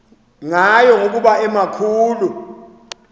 ngayo ngokuba emakhulu